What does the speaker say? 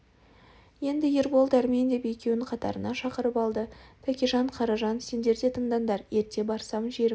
енді ербол дәрмен деп екеуін қатарына шақырып алды тәкежан қаражан сендер де тыңдандар ерте барсам жерімді